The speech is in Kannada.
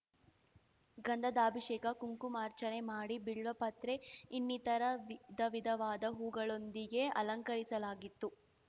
ಗಂಧಾಧಭಿಷೇಕ ಕುಂಕುಮಾರ್ಚನೆ ಮಾಡಿ ಬಿಲ್ವಪತ್ರೆ ಇನ್ನಿತರ ವಿಧವಿಧವಾದ ಹೂವುಗಳೊಂದಿಗೆ ಅಲಂಕರಿಸಲಾಗಿತ್ತು